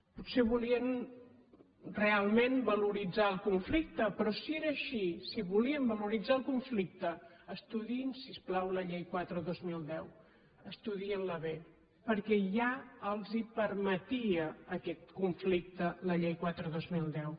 potser volien realment valoritzar el conflicte però si era així si volien valoritzar el conflicte estudiïn si us plau la llei quatre dos mil deu estudiïn la bé perquè ja els permetia aquest conflicte la llei quatre dos mil deu